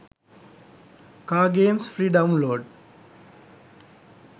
car games free download